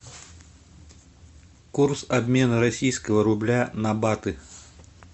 курс обмена российского рубля на баты